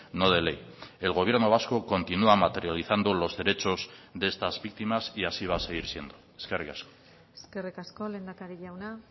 no de ley el gobierno vasco continúa materializando los derechos de estas víctimas y así va a seguir siendo eskerrik asko eskerrik asko lehendakari jauna